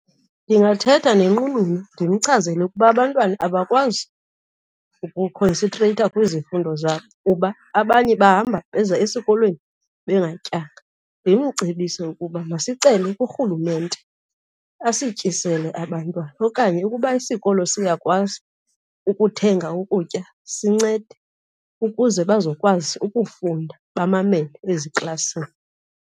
Ndingathetha nenqununu ndimchazele ukuba abantwana abakwazi ukukhonsentreyitha kwizifundo zabo kuba abanye bahamba beza esikolweni bengatyanga, ndimcebise ukuba isicelo kurhulumente asityisele abantwana, okanye ukuba isikolo siyakwazi ukuthenga ukutya sincede ukuze bazokwazi ukufunda bamamele eziklasini.